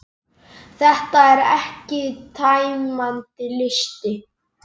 Þetta er ekki tæmandi listi.